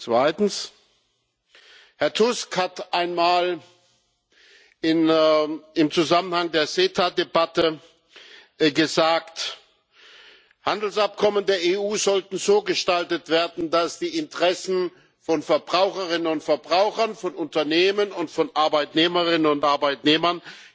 Zweitens Herr Tusk hat einmal im Zusammenhang mit der CETA Debatte gesagt Handelsabkommen der EU sollten so gestaltet werden, dass die Interessen von Verbraucherinnen und Verbrauchern, von Unternehmen und von Arbeitnehmerinnen und Arbeitnehmern